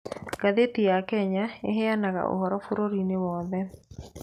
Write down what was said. Ngathĩti ya Kenya ĩheanaga ũhoro bũrũri-inĩ wothe.